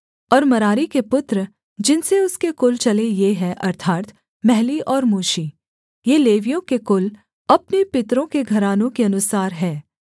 और मरारी के पुत्र जिनसे उसके कुल चले ये हैं अर्थात् महली और मूशी ये लेवियों के कुल अपने पितरों के घरानों के अनुसार हैं